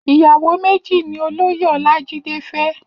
Iyàwó méji ni Ólóyé Olajide fè